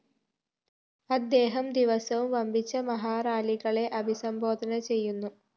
അദ്ദേഹം ദിവസവും വമ്പിച്ച മഹാറാലികളെ അഭിസംബോധന ചെയ്യുന്നു